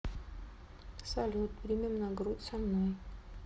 салют примем на грудь со мной